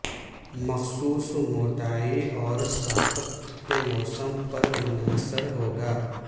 مخصوص موٹائی اور ساخت کے موسم پر منحصر ہوگا